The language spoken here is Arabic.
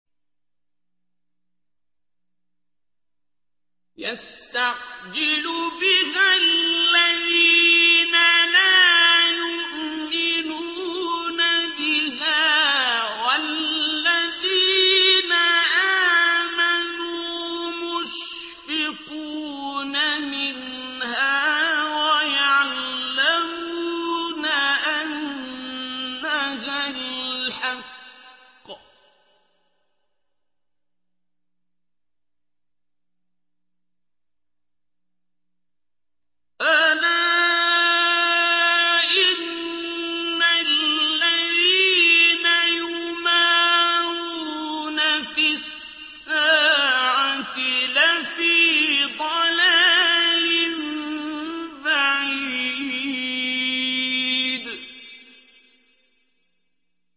يَسْتَعْجِلُ بِهَا الَّذِينَ لَا يُؤْمِنُونَ بِهَا ۖ وَالَّذِينَ آمَنُوا مُشْفِقُونَ مِنْهَا وَيَعْلَمُونَ أَنَّهَا الْحَقُّ ۗ أَلَا إِنَّ الَّذِينَ يُمَارُونَ فِي السَّاعَةِ لَفِي ضَلَالٍ بَعِيدٍ